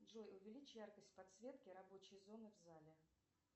джой увеличь яркость подсветки рабочей зоны в зале